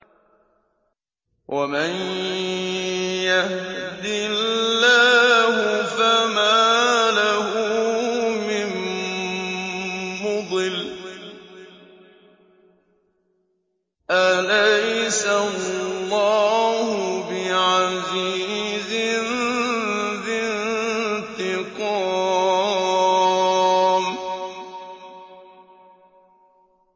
وَمَن يَهْدِ اللَّهُ فَمَا لَهُ مِن مُّضِلٍّ ۗ أَلَيْسَ اللَّهُ بِعَزِيزٍ ذِي انتِقَامٍ